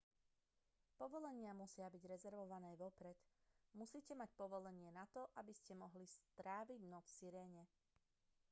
povolenia musia byť rezervované vopred musíte mať povolenie na to aby ste mohli stráviť noc v sirene